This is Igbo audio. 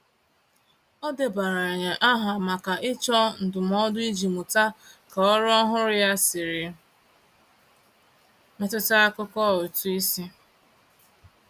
O debanyere aha maka ịchọ ndụmọdụ iji mụta ka ọrụ ọhụrụ ya siri metụta akụkọ ụtụisi.